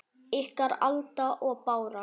Ykkar, Alda og Bára.